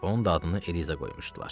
Onun da adını Eliza qoymuşdular.